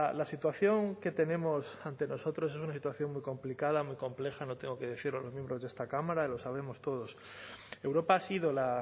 la situación que tenemos ante nosotros es una situación muy complicada muy compleja no tengo que decirlo a los miembros de esta cámara y lo sabemos todos europa ha sido la